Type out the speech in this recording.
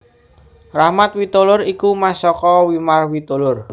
Rachmat Witoelar iku mas saka Wimar Witoelar